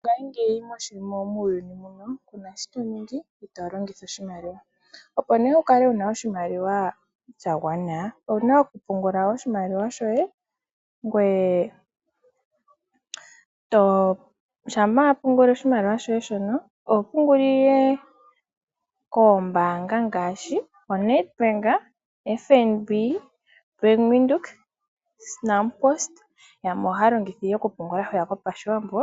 Mongashingeyi muuyuni muno kuna shi toningi itolongitha oshimaliwa. Opo nee wukale wuna oshimaliwa shaagwana owuna okupungula oshimaliwa kombaanga ngaashi Nedbank, FNB,Bank Windhoek, Nampost yamwe ohaya longitha okupungula hwiya kopashiwambo.